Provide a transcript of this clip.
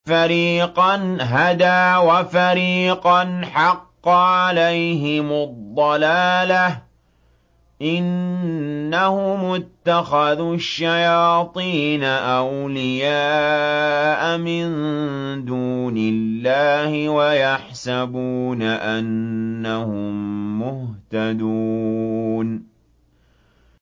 فَرِيقًا هَدَىٰ وَفَرِيقًا حَقَّ عَلَيْهِمُ الضَّلَالَةُ ۗ إِنَّهُمُ اتَّخَذُوا الشَّيَاطِينَ أَوْلِيَاءَ مِن دُونِ اللَّهِ وَيَحْسَبُونَ أَنَّهُم مُّهْتَدُونَ